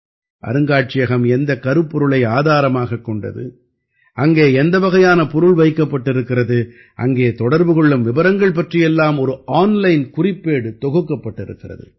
அருங்காட்சியகம் எந்தக் கருப்பொருளை ஆதாரமாகக் கொண்டது அங்கே எந்த வகையான பொருள் வைக்கப்பட்டிருக்கிறது அங்கே தொடர்பு கொள்ளும் விபரங்கள் பற்றியெல்லாம் ஒரு ஆன்லைன் குறிப்பேடு தொகுக்கப்பட்டிருக்கிறது